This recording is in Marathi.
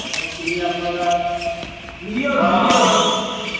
त्यामुळे ते आपल्याला, व्हिडीओ व्हिडीओ